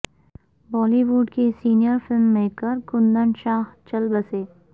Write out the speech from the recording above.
بالی would کے senior film maker Kundan Shah چل بسے